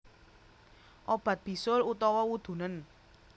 Obat bisul utawa wudunen